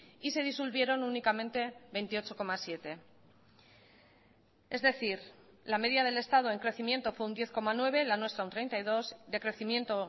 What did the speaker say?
y se disolvieron únicamente veintiocho coma siete es decir la media del estado en crecimiento fue un diez coma nueve la nuestra un treinta y dos decrecimiento